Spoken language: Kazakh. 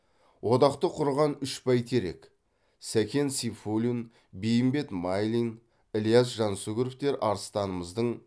одақты құрған үш бәйтерек сәкен сейфуллин бейімбет майлин ілияс жансүгіров арыстанымыздың